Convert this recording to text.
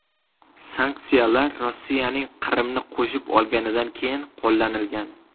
Sanksiyalar Rossiyaning Qrimni qo‘shib olganidan keyin qo‘llanilgan.